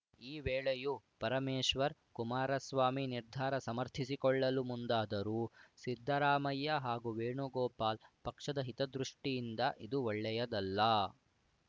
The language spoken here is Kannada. ಈ ವೇಳೆಯೂ ಪರಮೇಶ್ವರ್‌ ಕುಮಾರಸ್ವಾಮಿ ನಿರ್ಧಾರ ಸಮರ್ಥಿಸಿಕೊಳ್ಳಲು ಮುಂದಾದರೂ ಸಿದ್ದರಾಮಯ್ಯ ಹಾಗೂ ವೇಣುಗೋಪಾಲ್‌ ಪಕ್ಷದ ಹಿತದೃಷ್ಟಿಯಿಂದ ಇದು ಒಳ್ಳೆಯದಲ್ಲ